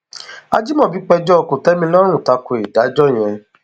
ajimobi péjọ kòtẹmilọrùn ta ko ìdájọ yẹn